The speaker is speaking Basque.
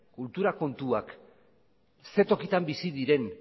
kultura kontuak ze tokitan bizi diren